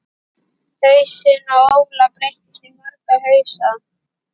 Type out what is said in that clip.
Hausinn á Óla breytist í marga hausa.